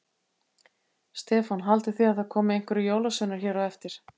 Stefán: Haldið þið að það komi einhverjir jólasveinar hér á eftir?